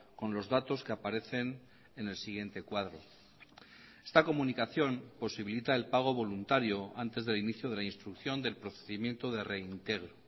con los datos que aparecen en el siguiente cuadro esta comunicación posibilita el pago voluntario antes del inicio de la instrucción del procedimiento de reintegro